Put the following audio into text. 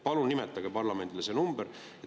Palun nimetage parlamendile see number.